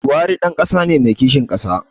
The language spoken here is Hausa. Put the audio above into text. Buhari ɗan ƙasa ne mai kishin ƙasa